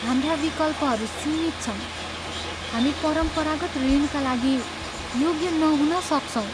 हाम्रा विकल्पहरू सीमित छन्! हामी परम्परागत ऋणका लागि योग्य नहुन सक्छौँ।